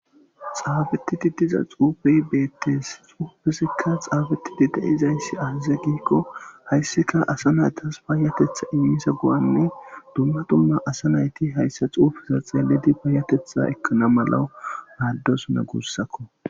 Xaafetidi diza xuufey beetes xuufezikka xaafeti de'izayssi aaze giikko hayssika asa naytas payyatetha immizo go'anne dumma dumma asa nayti hayssa xuufeza xeelidi payyatetha ekkana malaw maadosona gussako.